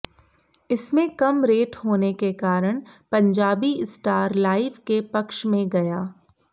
इसमें कम रेट होने के कारण पंजाबी स्टार लाइव के पक्ष में गया